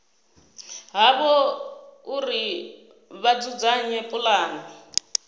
havho uri vha dzudzanye pulane